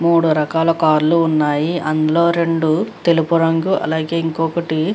మూడు రకాల కార్ లు ఉన్నాయి. అందులో రెండు తెలుపు రంగు అలాగే ఇంకొకటి --